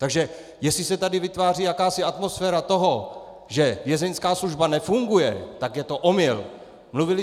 Takže jestli se tady vytváří jakási atmosféra toho, že vězeňská služba nefunguje, tak je to omyl!